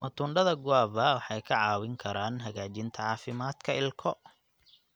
Matunda da guava waxay ka caawin karaan hagaajinta caafimaadka ilko.